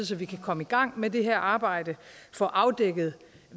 så vi kan komme i gang med det her arbejde få afdækket